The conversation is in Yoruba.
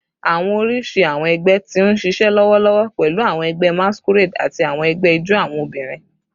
Awọn oriṣi awọn ẹgbẹ ti n ṣiṣẹ lọwọlọwọ pẹlu awọn ẹgbẹ masquerade ati awọn ẹgbẹ ijó awọn obinrin